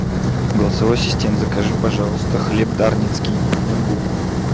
голосовой ассистент закажи пожалуйста хлеб дарницкий одну булку